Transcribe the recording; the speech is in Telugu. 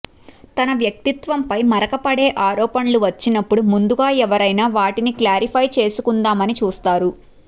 తన వ్యక్తిత్వంపై మరక పడే ఆరోపణలు వచ్చినపుడు ముందుగా ఎవరైనా వాటిని క్లారిఫై చేసుకుందామని చూస్తారు